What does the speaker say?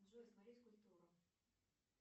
джой смотреть культуру